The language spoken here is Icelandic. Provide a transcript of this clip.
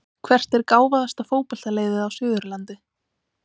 Hvert er gáfaðasta fótboltaliðið á Suðurlandi?